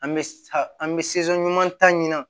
An bɛ sa an bɛ ɲuman ta ɲina